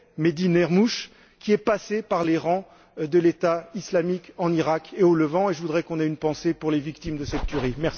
Mehdi Nemmouche, qui est passé par les rangs de l'État islamique en Iraq et au Levant et je voudrais qu'on ait une pensée pour les victimes de cette tuerie.